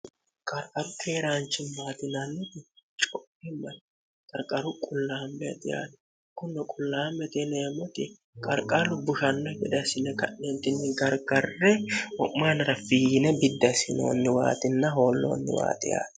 qarqaru keeraanchi maatinannii coimmani garqaru qullaambaxi aati kunno qullaa meteleemmoti qarqarru bushanno gedasine ka'neentinni gargarre ho'maanara fiiyine biddasinoonniwaaxinna hoolloonniwaaxi aati